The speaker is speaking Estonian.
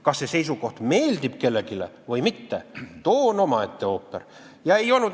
Kas see seisukoht meeldib kellelegi või mitte, too on omaette ooper.